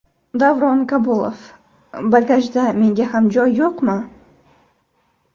Davron Kabulov: Bagajda menga ham joy yo‘qmi?